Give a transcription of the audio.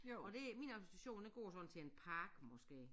Og det min argumentation den går sådan til en park måske